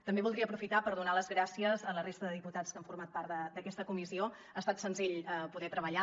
també voldria aprofitar per donar les gràcies a la resta de diputats que han format part d’aquesta comissió ha estat senzill poder hi treballar